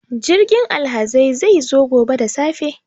Jirgin alhazai zai zo gobe da safe.